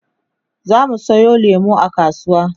zamu Sayo lemu a kasuwa